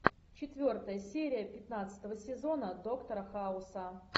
четвертая серия пятнадцатого сезона доктора хауса